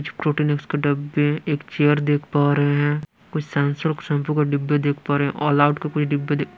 कुछ Protinex के डब्बे एक चेयर देख पा रहे हैं कुछ संसर शैंपू का डिब्बे देख पा रहे हैं ऑल आउट के कुछ डिब्बे देख --